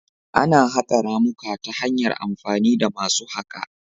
Ana haƙa ramuka ta hanyar amfani da masu haƙa